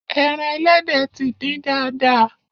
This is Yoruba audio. Ẹran ẹlẹ́dẹ̀ ti dín dáadáa.